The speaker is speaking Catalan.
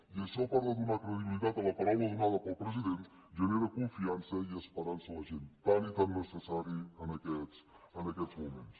i això a part de donar credibilitat a la paraula donada pel president genera confiança i esperança en la gent tan i tan necessària en aquests moments